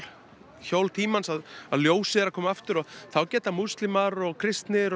hjól tímans að að ljósið er að koma aftur og þá geta múslimar og kristnir og